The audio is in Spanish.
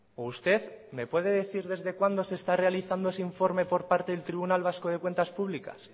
o usted me puede decir desde cuándo se está realizando ese informe por parte del tribunal vasco de cuentas públicas